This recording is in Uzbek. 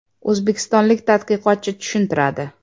O‘zbekistonlik tadqiqotchi tushuntiradi.